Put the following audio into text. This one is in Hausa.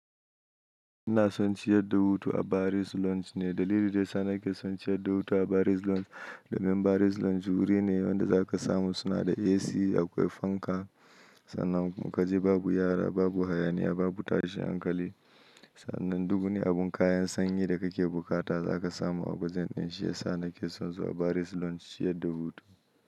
Ina son ciyar da hutu a Baris Lounge ne. Dalilin da yana ke son ciyar da hutu a Baris Lounge, domin Baris Lounge wuri ne wanda zaka samu suna da AC akwai fanka. Sannan in kaje babu yara, babu hayaniya, babu tashin hankali. Sannan duku ne abin kayan sanyi da kake bukata zaka samu a wajen din shi. Ya sa nake son zuwa Baris Lounge ciyar da hutu.